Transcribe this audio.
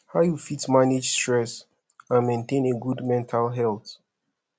how you fit manage stress and maintain a good mental health